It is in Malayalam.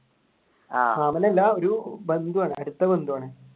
മാമാനല്ല ഒരു ബന്ധുവാണ് അടുത്ത ബന്ധുവാണ്.